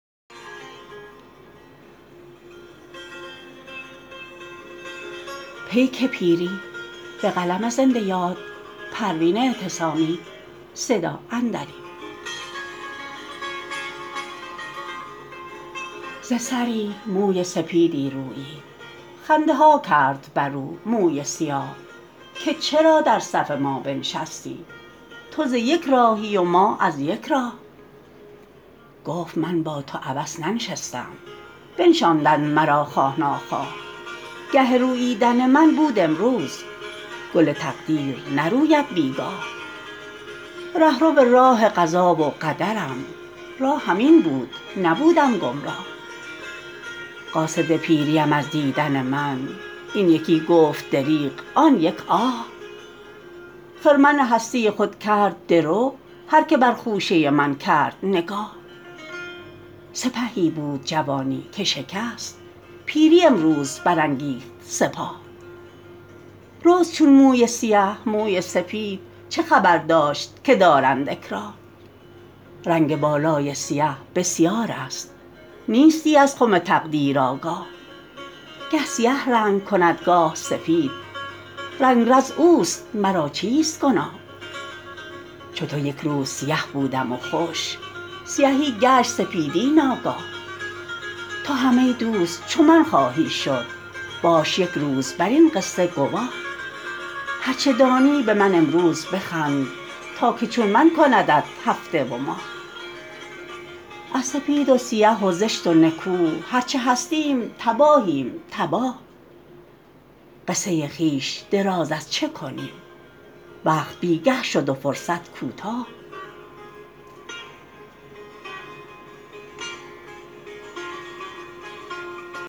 ز سری موی سپیدی رویید خنده ها کرد بر او موی سیاه که چرا در صف ما بنشستی تو ز یک راهی و ما از یک راه گفت من با تو عبث ننشستم بنشاندند مرا خواه نخواه گه روییدن من بود امروز گل تقدیر نروید بیگاه رهرو راه قضا و قدرم راهم این بود نبودم گمراه قاصد پیری ام از دیدن من این یکی گفت دریغ آن یک آه خرمن هستی خود کرد درو هر که بر خوشه من کرد نگاه سپهی بود جوانی که شکست پیری امروز برانگیخت سپاه رست چون موی سیه موی سپید چه خبر داشت که دارند اکراه رنگ بالای سیه بسیار است نیستی از خم تقدیر آگاه گه سیه رنگ کند گاه سفید رنگرز اوست مرا چیست گناه چو تو یکروز سیه بودم و خوش سیهی گشت سپیدی ناگاه تو هم ای دوست چو من خواهی شد باش یک روز بر این قصشه گواه هر چه دانی به من امروز بخند تا که چون من کندت هفته و ماه از سپید و سیه و زشت و نکو هر چه هستیم تباهیم تباه قصه خویش دراز از چه کنیم وقت بیگه شد و فرصت کوتاه